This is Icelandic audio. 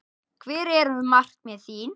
Hver eru markmið þín?